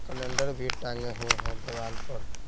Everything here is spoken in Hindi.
कैलेंडर भी टांगे हुए हैं देवाल पर।